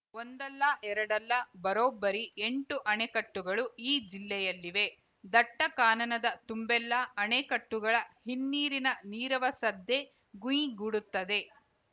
ಒಂದಲ್ಲ ಎರಡಲ್ಲ ಬರೋಬ್ಬರಿ ಎಂಟು ಅಣೆಕಟ್ಟುಗಳು ಈ ಜಿಲ್ಲೆಯಲ್ಲಿವೆ ದಟ್ಟಕಾನನದ ತುಂಬೆಲ್ಲ ಅಣೆಕಟ್ಟುಗಳ ಹಿನ್ನೀರಿನ ನೀರವ ಸದ್ದೇ ಗುಂಯ್‌ಗುಡುತ್ತದೆ